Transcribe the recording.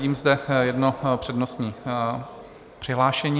Vidím zde jedno přednostní přihlášení.